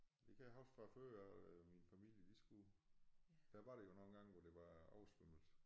Det kan jeg huske fra før øh min familie de skulle der var det jo nogen gange hvor der var oversvømmelse